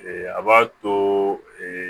a b'a to